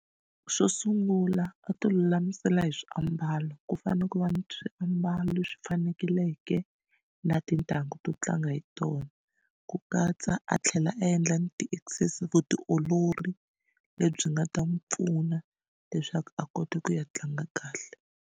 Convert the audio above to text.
Xo sungula a ti lulamisela hi swiambalo ku fanele ku va ni swiambalo leswi fanekeleke na tintangu to tlanga hi tona ku katsa a tlhela a endla ni vutiolori lebyi nga ta n'wi pfuna leswaku a kota ku ya tlanga kahle.